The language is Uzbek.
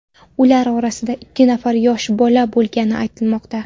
Ular orasida ikki nafar yosh bola bo‘lgani aytilmoqda.